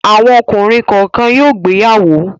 Àwọn ọkùnrin kọ̀ọ̀kan yóò gbéyàwó.